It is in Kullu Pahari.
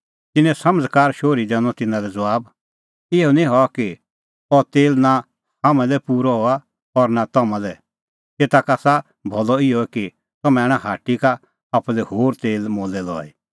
तिन्नैं समझ़कार शोहरी दैनअ तिन्नां लै ज़बाब इहअ निं हआ कि अह तेल नां हाम्हां लै पूरअ हआ और नां तम्हां लै एता का आसा भलअ इहअ कि तम्हैं आणा हाट्टी का आप्पू लै होर तेल मोलै लई